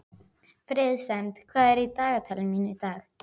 Friðsemd, hvað er í dagatalinu mínu í dag?